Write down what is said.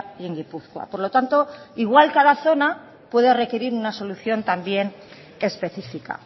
y en gipuzkoa por lo tanto igual cada zona puede requerir una solución también específica